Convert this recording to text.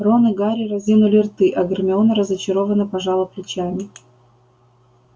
рон и гарри разинули рты а гермиона разочарованно пожала плечами